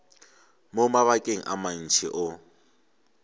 mo mabakeng a mantši o